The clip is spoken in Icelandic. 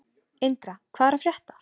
Indra, hvað er að frétta?